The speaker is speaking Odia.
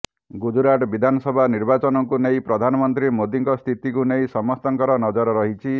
ଗୁଜରାଟ ବିଧାନସଭା ନିର୍ବାଚନକୁ ନେଇ ପ୍ରଧାନମନ୍ତ୍ରୀ ମୋଦିଙ୍କ ସ୍ଥିତିକୁ ନେଇ ସମସ୍ତଙ୍କର ନଜର ରହିଛି